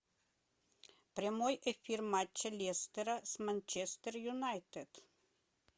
прямой эфир матча лестера с манчестер юнайтед